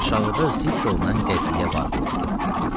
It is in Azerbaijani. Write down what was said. aşağıda zikr olunan qəziyyə vaqe oldu.